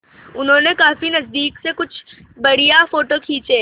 उन्होंने काफी नज़दीक से कुछ बढ़िया फ़ोटो खींचे